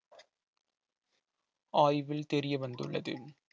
ஆய்வில் தெரிய வந்துள்ளது